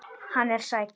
Hann er sæll.